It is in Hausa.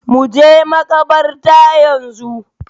Mu je makabarta yanzu